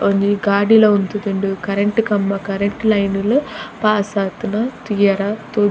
ಒಂಜಿ ಗಾಡಿಲ ಉಂತುದುಂಡು ಕರೆಂಟ್ ಕಂಬ ಕರೆಂಟ್ ಲೈನ್ ಲು ಪಾಸ್ ಆತುನ ತೂಯರೆ ತೋ --